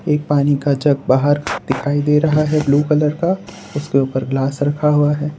एक पानी का जग बाहर दिखाई दे रहा है ब्लू कलर का उसके ऊपर ग्लास रखा हुआ है।